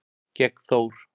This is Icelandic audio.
gegn Þór.